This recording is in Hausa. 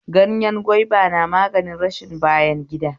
Ganyen gwaiba na magani rashin bayan gida